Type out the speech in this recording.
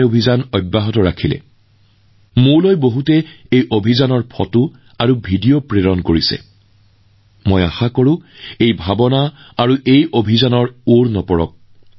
কিমানজনে মোলৈ এই সম্পৰ্কীয় ছবি আৰু ভিডিঅ প্ৰেৰণ কৰিছেএই অনুভৱ থমকিব নালাগে এই অভিযান বন্ধ হব নালাগে